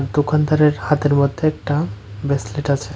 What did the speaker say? দোকানদারের হাতের মধ্যে একটা ব্রেসলেট আছে।